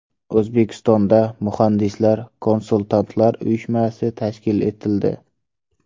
O‘zbekistonda Muhandislar-konsultantlar uyushmasi tashkil etildi.